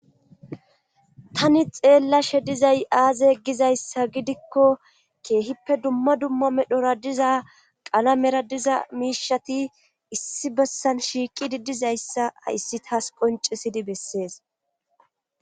Tani xeelshe dizay azze gizyassa gidikko keehippe dumma dumma medhora diza qalamer diza miishati issi bessan shiiqidi dizayssa hayssi taas qonccisidi bessees.